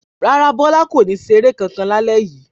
Rárá, Bọ́lá kò ní ṣeré lálẹ́ yìí.